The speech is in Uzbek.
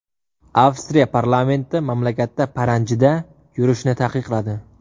Avstriya parlamenti mamlakatda paranjida yurishni taqiqladi.